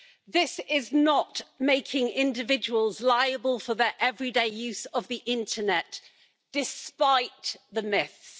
This is not about making individuals liable for their everyday use of the internet, despite the myths.